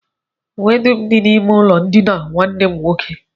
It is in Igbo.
Uwe m dum dị n'ime ụlọndina nwanne m nwoke